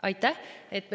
Aitäh!